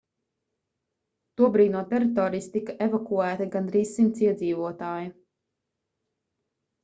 tobrīd no teritorijas tika evakuēti gandrīz 100 iedzīvotāji